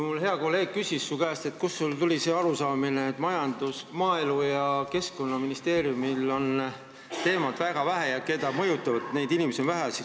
Mu hea kolleeg küsis su käest, kust sul tuli see arusaamine, et maaelu- ja keskkonnaministeeriumil on tegevusvaldkond väike ja inimesi, keda nad mõjutavad, on vähe.